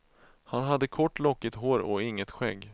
Han hade kort lockigt hår och inget skägg.